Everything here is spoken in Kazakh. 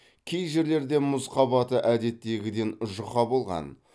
кей жерлерде мұз қабаты әдеттегіден жұқа болған